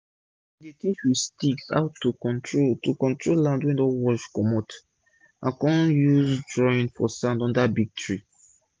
she dey teach wit sticks how to control to control land wey don wash comot and con use drawing for sand under big tree